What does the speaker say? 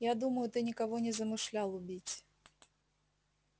я думаю ты никого не замышлял убить